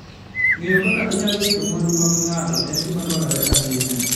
Ng'eyo kaka inyalo rit mwandu mag ng'ato en gima dwarore ahinya.